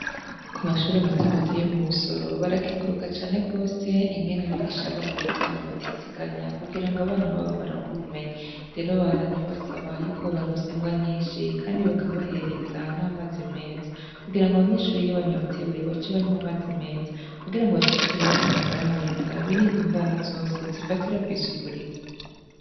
Ku mashure matomato yo mu Busoro, barakenguruka cane gose ingene abigisha baho bitanga batiziganya kugira ng'abana baho baronke ubumenyi, rero babandanya babasaba yuko bobaronsa ingwa nyinshi kandi bakabahereza n'amazi meza kugirango abanyeshure iyo banyotewe bace banywa amazi meza kugirango bashishikare bagire amagara meza birinde ingwara zose zifatira kw'isuku rike.